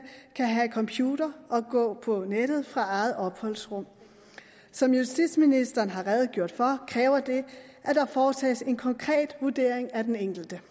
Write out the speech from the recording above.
kan have computer og gå på nettet fra eget opholdsrum som justitsministeren har redegjort for kræver det at der foretages en konkret vurdering af den enkelte